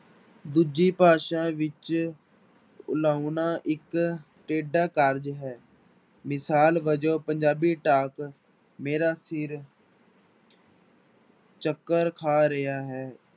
ਦੂਜੀ ਭਾਸ਼ਾ ਵਿੱਚ ਲਾਉਣਾ ਇੱਕ ਟੇਢਾ ਕਾਰਜ਼ ਹੈ ਮਿਸਾਲ ਵਜੋਂ ਪੰਜਾਬੀ ਮੇਰਾ ਸਿਰ ਚੱਕਰ ਖਾ ਰਿਹਾ ਹੈ।